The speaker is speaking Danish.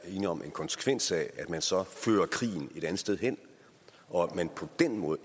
er enige om en konsekvens af at man så fører krigen et andet sted hen og at man på den måde